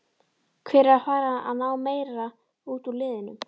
Hver er að fara að ná meira út úr liðinu?